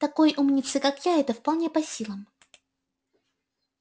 такой умнице как я это вполне по силам